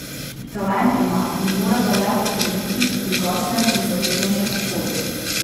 Talent ima in mora ga le potrditi v drugačnem in zahtevnejšem okolju.